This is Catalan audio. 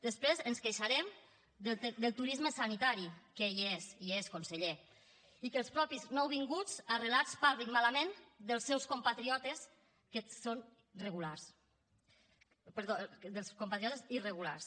després ens queixarem del turisme sanitari que hi és hi és conseller i que els mateixos nouvinguts arrelats parlin malament dels seus compatriotes irregulars